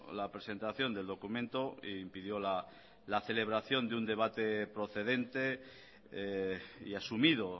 la presentación del documento e impidió la celebración de un debate procedente y asumido